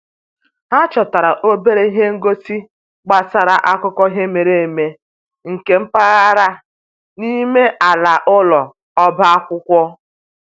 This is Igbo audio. Ha chọtara obere ihe ngosi gbasara akụkọ ihe mere eme nke mpaghara n'ime ala ụlọ ọba akwụkwọ